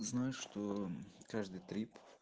знаешь что каждый трип